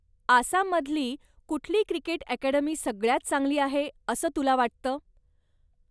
आसाममधली कुठली cricket academy सगळ्यांत चांगली आहे असं तुला वाटतं?